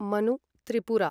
Manu Tripura